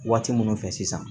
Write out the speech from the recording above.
Waati minnu fɛ sisan